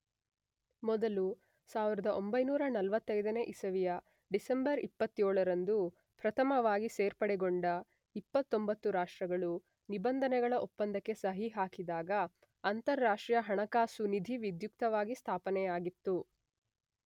ಮೊದಲು 1945ನೇ ಇಸವಿಯ ಡಿಸೆಂಬರ್ 27ರಂದು ಪ್ರಥಮವಾಗಿ ಸೇರ್ಪಡೆಗೊಂಡ 29 ರಾಷ್ಟ್ರಗಳು ನಿಬಂಧನೆಗಳ ಒಪ್ಪಂದಕ್ಕೆ ಸಹಿ ಹಾಕಿದಾಗ ಅಂತರರಾಷ್ಟ್ರೀಯ ಹಣಕಾಸು ನಿಧಿ ವಿಧ್ಯುಕ್ತವಾಗಿ ಸ್ಥಾಪನೆಯಾಗಿತ್ತು.